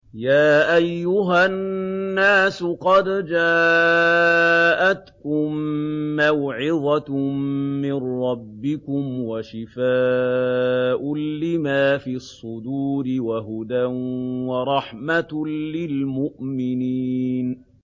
يَا أَيُّهَا النَّاسُ قَدْ جَاءَتْكُم مَّوْعِظَةٌ مِّن رَّبِّكُمْ وَشِفَاءٌ لِّمَا فِي الصُّدُورِ وَهُدًى وَرَحْمَةٌ لِّلْمُؤْمِنِينَ